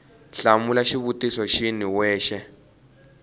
hlamula xivutiso xin we xa